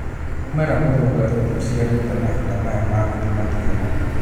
Mu͂mera mu͂ru͂ngaru͂ ni uciarite mahinda maya ma gi͂thima ki͂u͂mu͂.